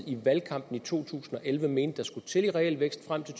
i valgkampen to tusind og elleve mente der skulle til en realvækst frem til